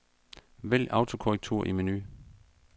Vælg autokorrektur i menu.